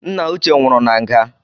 Nna uche nwụru na nga